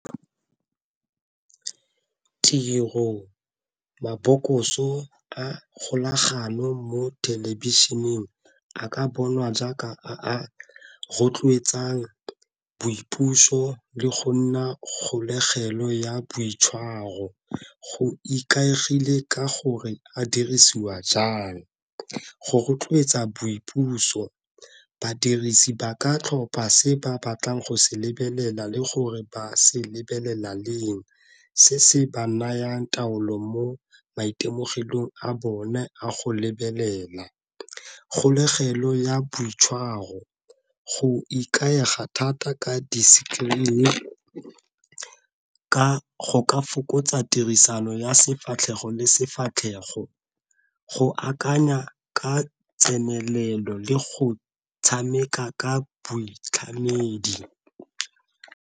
Tiro, mabokoso a kgolagano mo thelebišeneng a ka bonwa jaaka a rotloetsang boipuso le go nna kgolegelong ya boitshwaro, go ikaegile ka gore a dirisiwa jang. Go rotloetsa boipuso badirisi ba ka tlhopa se ba batlang go se lebelela le gore ba se lebelela leng, se se ba nayang taolo mo maitemogelong a bone a go lebelela. Kgolegelo ya boitshwaro, go ikaega thata ka di-screen go ka fokotsa tirisano ya sefatlhego le sefatlhego, go akanya ka tsenelelo le go tshameka ka boitlhamedi.